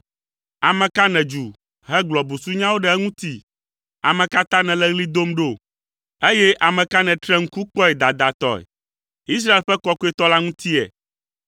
Ame ka nèdzu hegblɔ busunyawo ɖe eŋuti? Ame ka ta nèle ɣli dom ɖo, eye ame ka nètre ŋku kpɔe dadatɔe? Israel ƒe Kɔkɔetɔ la ŋutie!